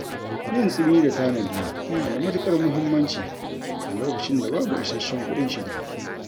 Yin tsimi da tanadi yana da matukar mahimmanci, a lokacin da babu isasshen kuɗin shiga.